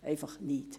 Einfach nicht.